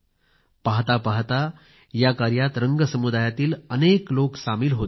पाहता पाहता या कार्यात रंग समुदायातील अनेक लोक सामील होत गेले